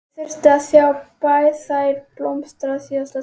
Ég þyrfti að sjá þær blómstra í síðasta sinn.